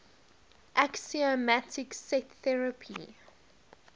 axiomatic set theory